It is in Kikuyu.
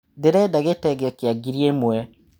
Ndĩreda gĩtenge kĩa ngiri ĩmwe.